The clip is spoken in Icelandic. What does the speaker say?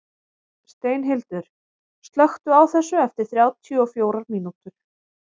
Steinhildur, slökktu á þessu eftir þrjátíu og fjórar mínútur.